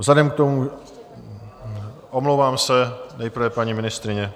Vzhledem k tomu - omlouvám se, nejprve paní ministryně.